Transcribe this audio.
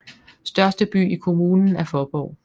Største by i kommunen er Faaborg